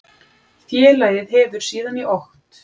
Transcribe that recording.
Félagið hefur síðan í okt